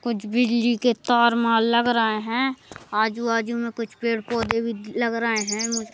कुछ बिजली के तार मार लग रहा हैं आजू बाजू में कुछ पेड़ पौधे लगा रहे हैं।